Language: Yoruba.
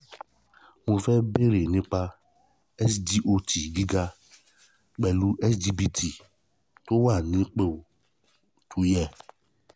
mo fẹ́ bèrè ni ́pa sgot gíga pẹ̀lú sgpt tó wà nípò tó yẹ